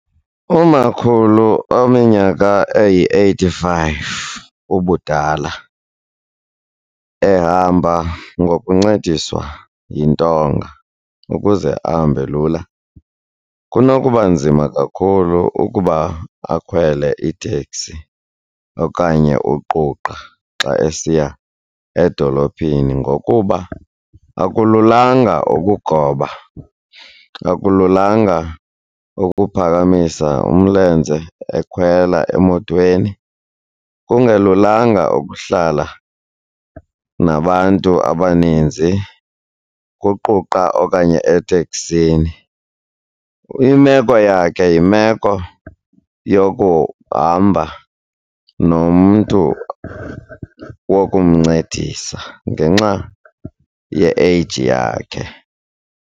Umakhulu ominyaka eyi-eighty-five ubudala ehamba ngokuncediswa yintonga ukuze ahambe lula kunokuba nzima kakhulu ukuba akhwele iteksi okanye uquqa xa esiya edolophini ngokuba akululanga ukugoba, akululanga ukuphakamisa umlenze ekhwela emotweni, kungelulanga ukuhlala nabantu abaninzi kuquqa okanye eteksini. Imeko yakhe yimeko yokuhamba nomntu wokumncedisa ngenxa ye-age yakhe.